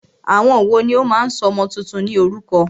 Àwọn wòó ní o máà ń sọ ọmọ túntún ní orúkọ?